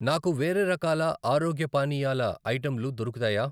నాకు వేరే రకాల ఆరోగ్య పానీయాల ఐటెంలు దొరుకుతాయా?